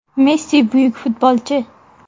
Messi buyuk futbolchi.